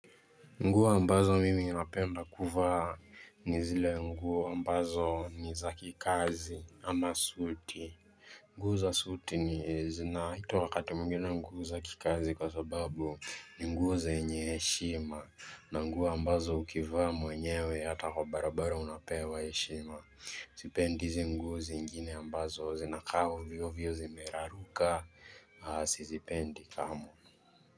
Nguo ambazo mimi ninapenda kuvaa ni zile nguo ambazo ni za kikazi ama suti. Nguo za suti ni zinaitwa wakati mwingine nguo za kikazi kwa sababu ni nguo zenye heshima. Na nguo ambazo ukivaa mwenyewe hata kwa barabara unapewa heshima. Sipendi hizi nguo zingine ambazo zinakaa ovyo ovyo zimeraruka. Sizipendi kamwe.